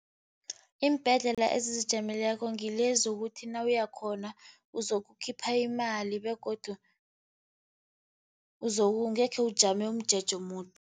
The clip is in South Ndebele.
Iimbhedlela ezizijameleko ngilezi ukuthi nawuya khona, uzokukhipha imali begodu angekhe ujame umjeje omude.